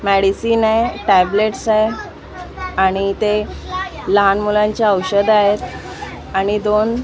medicine आहे tablets आहेत आणि इथे लहान मुलांचे औषधं आहेत आणि दोन --